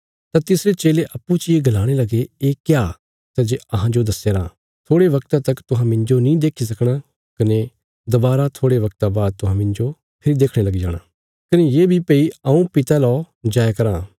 तां तिसरे चेले अप्पूँ चियें गलाणे लगे ये क्या सै जे अहांजो दस्यारां थोड़े बगता तक तुहां मिन्जो नीं देखी सकणा कने दवारा थोड़े बगता बाद तुहां मिन्जो फेरी देखणे लगी जाणा कने ये बी भई हऊँ पिता लौ जाया राँ